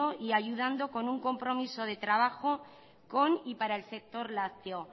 y ayudando con un compromiso de trabajo con y para el sector lácteo